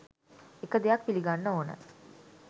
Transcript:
එක දෙයක් පිළිගන්න ඕන